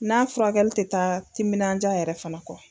N'a furakɛli ti taa timinanja yɛrɛ kɔ